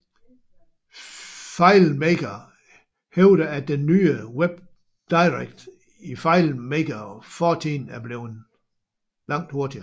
FileMaker hævder at den nye WebDirect i FileMaker 14 er blevet langt hurtigere